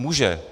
Může.